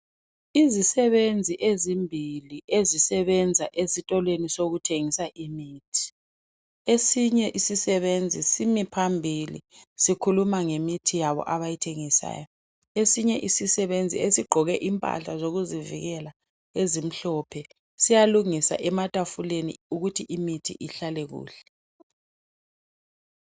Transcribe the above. Izisebenzi ezimbili ezisebenza ezitolo sokuthengisa imithi esinye isisebenzi simi phambili sikhuluma ngemithi yabo abayithengisayo esinye isisebenzi esigqoke impahla zokuzivikela ezimhlophe siyalungisa ematafuleni ukuthi imithi ihlale kuhle.